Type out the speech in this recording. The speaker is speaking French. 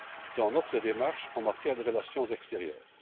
dans notre démarche en matière de relations extérieures.